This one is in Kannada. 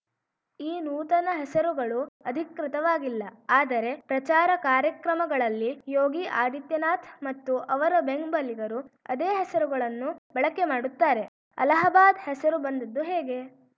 ಈ ನೂತನ ಹೆಸರುಗಳು ಅಧಿಕೃತವಾಗಿಲ್ಲ ಆದರೆ ಪ್ರಚಾರ ಕಾರ್ಯಕ್ರಮಗಳಲ್ಲಿ ಯೋಗಿ ಆದಿತ್ಯನಾಥ್ ಮತ್ತು ಅವರ ಬೆಂಬಲಿಗರು ಅದೇ ಹೆಸರುಗಳನ್ನು ಬಳಕೆ ಮಾಡುತ್ತಾರೆ ಅಲಹಾಬಾದ್‌ ಹೆಸರು ಬಂದಿದ್ದು ಹೇಗೆ